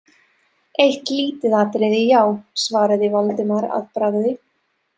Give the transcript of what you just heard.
Eitt lítið atriði, já- svaraði Valdimar að bragði.